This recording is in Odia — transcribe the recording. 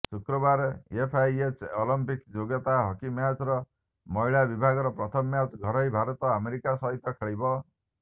ଶୁକ୍ରବାର ଏଫ୍ଆଇଏଚ୍ ଅଲିମ୍ପିକ୍ସ ଯୋଗ୍ୟତା ହକି ମ୍ୟାଚର ମହିଳା ବିଭାଗର ପ୍ରଥମ ମ୍ୟାଚ ଘରୋଇ ଭାରତ ଆମେରିକା ସହିତ ଖେଳିବ